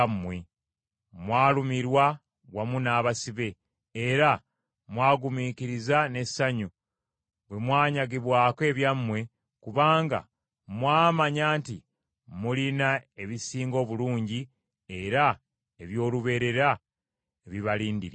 Mwalumirwa wamu n’abasibe, era mwagumiikiriza n’essanyu bwe mwanyagibwako ebyammwe kubanga mwamanya nti mulina ebisinga obulungi era eby’olubeerera ebibalindiridde.